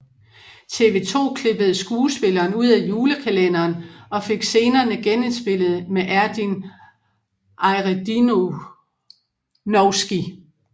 TV 2 klippede skuespilleren ud af julekalenderen og fik scenerne genindspillet med Erdinc Ajredinovski